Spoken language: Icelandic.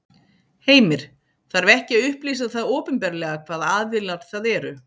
Heimir: Þarf ekki að upplýsa það opinberlega, hvaða aðilar það eru?